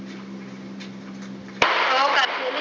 हो का केले का